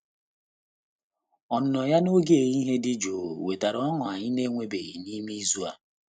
Ọnụnọ ya n'oge ehihie dị jụụ wetara ọñụ anyị na-enwebeghị n'ime izu a.